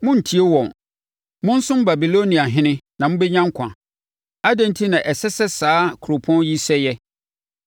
Monntie wɔn. Monsom Babiloniahene na mobɛnya nkwa. Adɛn enti na ɛsɛ sɛ saa kuropɔn yi sɛeɛ?